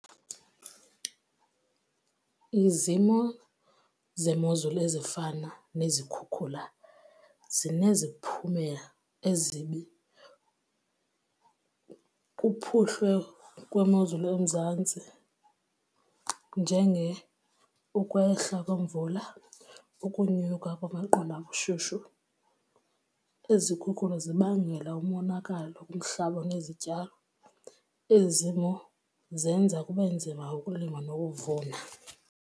Izimo zemozulu ezifana nezikhukhula zineziphumela ezibi kuphuhlwe kwemozulu eMzantsi ukwehla kwemvula, ukunyuka kwamaqondo abushushu. Izikhukula zibangela umonakalo kumhlaba nezityalo. Ezi zimo zenza kube nzima ukulima nokuvuna.